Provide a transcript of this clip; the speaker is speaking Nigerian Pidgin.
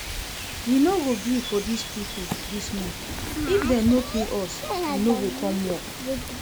We no go gree for dis people dis month, if dem no pay us we no go come work